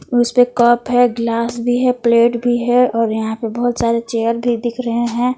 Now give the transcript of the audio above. उसे कप है गिलास भी है प्लेट भी है और यहां पर बहुत सारे चेयर भी दिख रहे हैं।